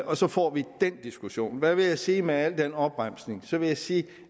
og så får vi den diskussion hvad vil jeg sige med al den opremsning jeg vil sige at